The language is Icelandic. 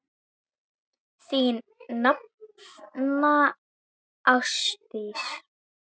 Þín nafna, Ásdís.